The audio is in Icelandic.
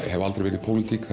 hef aldrei verið í pólitík